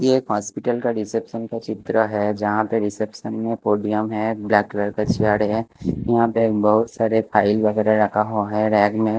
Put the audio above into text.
ये एक हॉस्पिटल का रिसेप्शन का चित्र है जहा पे रिसेप्शन में पोडियम है ब्लैक कलर का है यहां पे बोहत सारे फाइल रखा हुआ है रेग में --